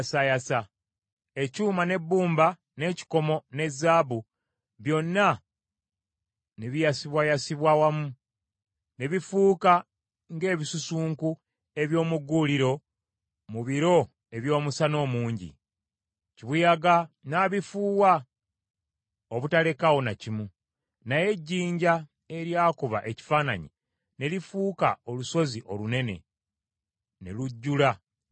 Ekyuma n’ebbumba, n’ekikomo, ne zaabu, byonna ne biyasibwayasibwa wamu, ne bifuuka ng’ebisusunku eby’omu gguuliro mu biro eby’omusana omungi; kibuyaga n’abifuuwa obutalekaawo na kimu. Naye ejjinja eryakuba ekifaananyi ne lifuuka olusozi olunene, ne lujjula ensi yonna.